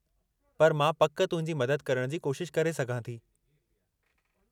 पर मां पक तुंहिंजी मदद करण जी कोशिश करे सघां थी।